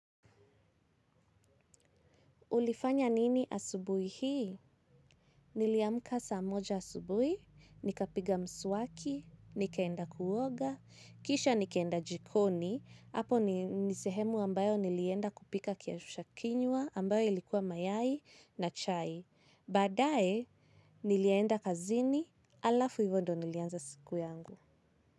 Ulifanya nini asubuhi hii? Niliamka saa moja asubuhi, nikapiga mswaki, nikaenda kuoga, kisha nikaenda jikoni, hapo ni sehemu ambayo nilienda kupika kiamsha kinywa ambayo ilikuwa mayai na chai. Baadae, nilienda kazini alafu hivyo ndio nilianza siku yangu.